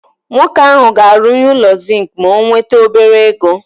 Nwoke ahụ ga-arụnye ụlọ zink ma o nwete obere ego.